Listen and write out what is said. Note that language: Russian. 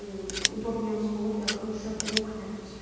удобные условия хорошая кухня то есть